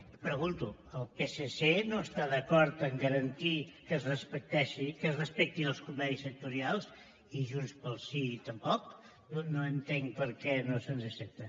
i pregunto el psc no està d’acord en garantir que es respectin els convenis sectorials i junts pel sí tampoc no entenc per què no se’ns accepta